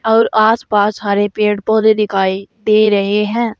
और आसपास हरे पेड़ पौधे दिखाई दे रहे हैं।